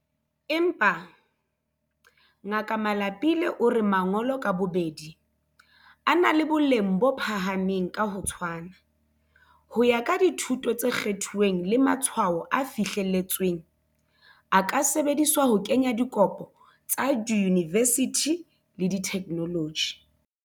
Empa, Ngaka Malapile o re mangolo ka bobedi, a na le boleng bo phahameng ka ho tshwana, ho ya ka dithuto tse kgethuweng le matshwao a fihleletsweng, a ka sebediswa ho kenya dikopo tsa diyunivesithi le dikholetjhi.